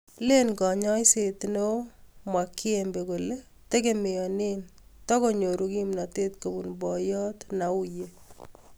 Len Kanyaiset neo Mwakyembe kole tegemeane takonyor kimnotet kobun boyot Nnauye.